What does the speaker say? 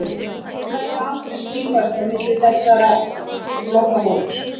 Það voru nefnilega aldrei skýr mörk á milli þessara flokka fólks.